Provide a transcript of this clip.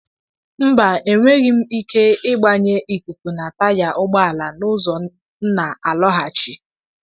Mba, enweghị m ike ịgbanye ikuku na taya ụgbọ ala a n'ụzọ m na-alọghachi.